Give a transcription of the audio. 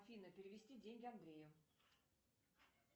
афина перевести деньги андрею